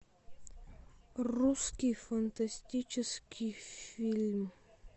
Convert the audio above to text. русский фантастический фильм